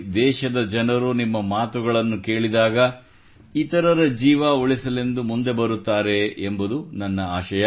ದೇಶದ ಜನರು ನಿಮ್ಮ ಮಾತುಗಳನ್ನು ಕೇಳಿದಾಗ ಜನರು ಇತರರ ಜೀವ ಉಳಿಸಲೆಂದು ಮುಂದೆ ಬರುತ್ತಾರೆ ಎಂಬುದು ನನ್ನ ಆಶಯ